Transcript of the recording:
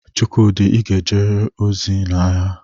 Chukwudi, I ga-ejerịrị ozi na agha!